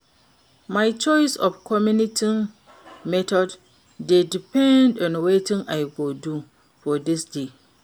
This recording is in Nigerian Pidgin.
My choice of commuting method dey depend on wetin I go do for di day.